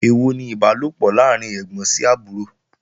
Èèwọ̀ ni Ìbálòpọ̀ láàrín ẹ́gbọ́n sí àbúrò